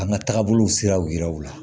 An ka taabolow siraw yira u la